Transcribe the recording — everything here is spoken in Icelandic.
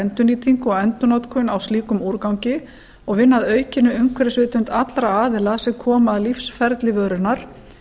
endurnýtingu og endurnotkun á slíkum úrgangi og vinna að aukinni umhverfisvitund allra aðila sem koma að lífsferli vörunnar